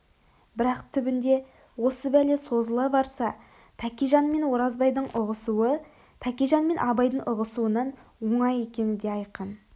бірақ түбінде осы бәле созыла барса тәкежан мен оразбайдың ұғысуы тәкежан мен абайдың ұғысуынан оңай екені да айқын